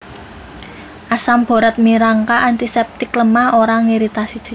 Asam Borat minangka antiseptik lemah ora ngiritasi jaringan